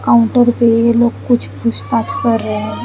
Counter पे ये लोग कुछ पूछ ताज कर रहे है।